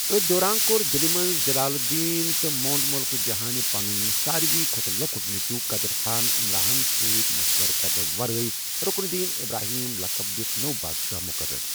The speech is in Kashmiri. أتھۍ دوران کوٚر دِلہ منٛز جلال الدین تہٕ مۄنٛڈ ملکہ جہانہِ پنُن ساروٕے کھوتہٕ لۄکٹ نیٚچو قدر خان عمراہن سٕتۍ مشورٕ کرنہٕ ورٲیۍ رکن الدین ابراہیم لٔقب دِتھ نوٚو بادشاہ مقرر۔